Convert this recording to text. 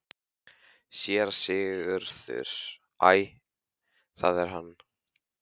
SÉRA SIGURÐUR: Æ, það er hann!